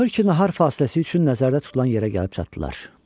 Axır ki, nahar fasiləsi üçün nəzərdə tutulan yerə gəlib çatdılar.